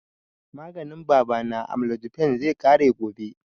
Maganin baba na, amlodipine, zai ƙare gobe